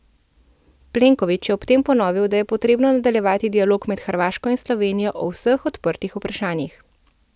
Plenković je ob tem ponovil, da je potrebno nadaljevati dialog med Hrvaško in Slovenijo o vseh odprtih vprašanjih.